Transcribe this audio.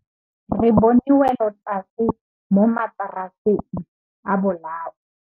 Re bone wêlôtlasê mo mataraseng a bolaô.